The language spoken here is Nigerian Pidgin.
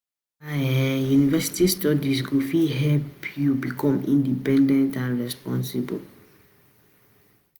Na um university studies go um fit um help you um help you become independent and responsible.